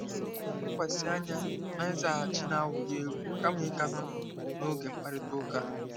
Ka anyị lekwasị anya na nzaghachi na-ewuli elu kama ịkatọ n'oge mkparịta ụka a.